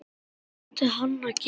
Hvað átti hann að gera?